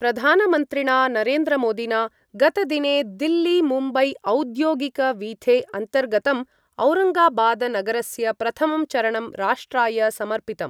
प्रधानमन्त्रिणा नरेन्द्रमोदिना गतदिने दिल्लीमुम्बैऔद्योगिकवीथे अन्तर्गतं औरंगाबादनगरस्य प्रथमं चरणं राष्ट्राय समर्पितम्।